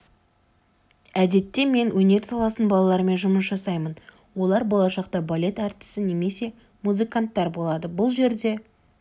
әдетте мен өнер саласының балаларымен жұмыс жасаймын олар болашақта балет әртісі немесе музыканттар болады бұл жерде